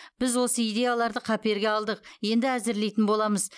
біз осы идеяларды қаперге алдық енді әзірлейтін боламыз